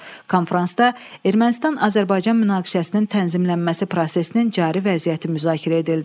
Konfransda Ermənistan-Azərbaycan münaqişəsinin tənzimlənməsi prosesinin cari vəziyyəti müzakirə edildi.